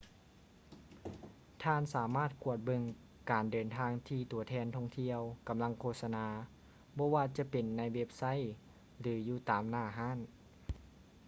ທ່ານສາມາດກວດເບິ່ງການເດີນທາງທີ່ຕົວແທນທ່ອງທ່ຽວກຳລັງໂຄສະນາ ບໍ່ວ່າຈະເປັນໃນເວັບໄຊ ຫຼື ຢູ່ຕາມໜ້າຮ້ານ